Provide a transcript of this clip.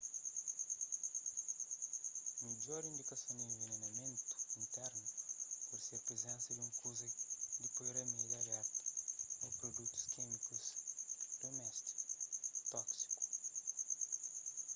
midjor indikason di envenenamentu internu pode ser prizensa di un kuza di poi ramédi abertu ô produtus kímikus duméstiku tóksiku